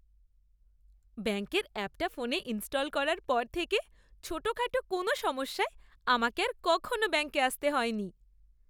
ব্যাঙ্কের অ্যাপটা ফোনে ইনস্টল করার পর থেকে ছোটখাটো কোনও সমস্যায় আমাকে আর কখনও ব্যাঙ্কে আসতে হয়নি।